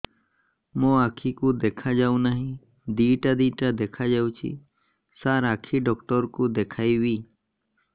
ମୋ ଆଖିକୁ ଦେଖା ଯାଉ ନାହିଁ ଦିଇଟା ଦିଇଟା ଦେଖା ଯାଉଛି ସାର୍ ଆଖି ଡକ୍ଟର କୁ ଦେଖାଇବି